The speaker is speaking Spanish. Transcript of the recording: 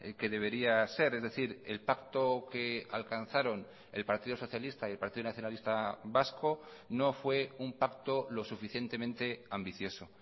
que debería ser es decir el pacto que alcanzaron el partido socialista y el partido nacionalista vasco no fue un pacto lo suficientemente ambicioso